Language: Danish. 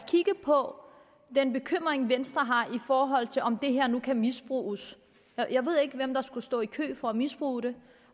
kigger på den bekymring venstre har i forhold til om det her nu kan misbruges jeg ved ikke hvem der skulle stå i kø for at misbruge det